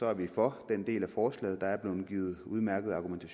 er vi for den del af forslaget der er blevet givet udmærkede argumenter